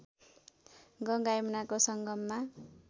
गङ्गा यमुनाको सङ्गममा